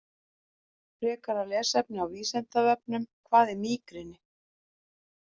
Frekara lesefni á Vísindavefnum: Hvað er mígreni?